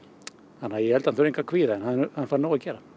þannig að ég held að hann þurfi engu að kvíða en hann fær nóg að gera